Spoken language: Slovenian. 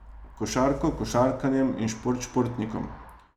Košarko košarkarjem in šport športnikom.